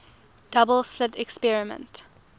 double slit experiment